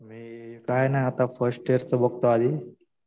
मी काही नाही. आता फर्स्ट ईयरचं बघतो आधी.